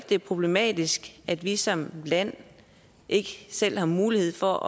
det er problematisk at vi som land ikke selv har mulighed for